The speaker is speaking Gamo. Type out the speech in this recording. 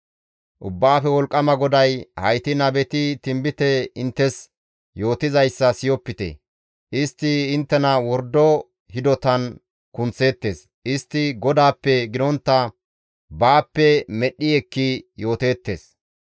Ubbaafe Wolqqama GODAY, «Hayti nabeti tinbite inttes yootizayssa siyopite; istti inttena wordo hidotan kunththeettes; istti GODAAPPE gidontta baappe medhdhi ekki yooteettes.